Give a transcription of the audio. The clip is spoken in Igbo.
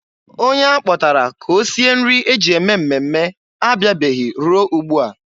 Onye a kpọtara ka o sie nri e ji eme mmemme abịabeghị ruo ugbua.